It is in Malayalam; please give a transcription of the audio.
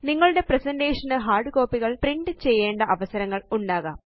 നിങ്ങളുടെ പ്രസന്റേഷൻ ന് ഹാര്ഡ് കോപ്പികള് പ്രിന്റ് ചെയ്യേണ്ട അവസരങ്ങൾ ഉണ്ടാകാം